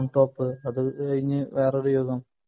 palmtop അത് കഴിഞ്ഞു വേറൊരു യുഗം